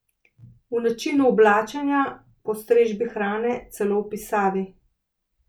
V načinu oblačenja, postrežbi hrane, celo v pisavi.